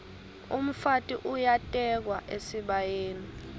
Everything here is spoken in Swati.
umfati uyatekwa esibayeni